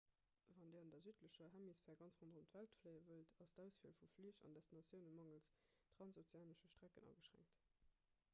wann dir an der südlecher hemisphär ganz ronderëm d'welt fléie wëllt ass d'auswiel vu flich an destinatioune mangels transozeanesche strecken ageschränkt